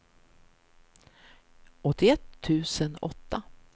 åttioett tusen åtta